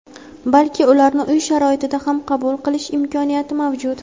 balki ularni uy sharoitida ham qabul qilish imkoniyati mavjud.